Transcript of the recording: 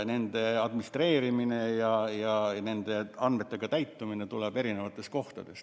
Nende administreerimine ja nende andmetega täitmine käib eri kohtades.